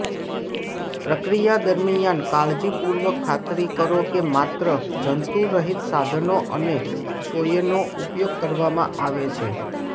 પ્રક્રિયા દરમિયાન કાળજીપૂર્વક ખાતરી કરો કે માત્ર જંતુરહિત સાધનો અને સોયનો ઉપયોગ કરવામાં આવે છે